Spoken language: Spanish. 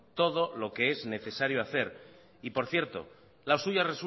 todo lo que es necesario hacer y por cierto la suya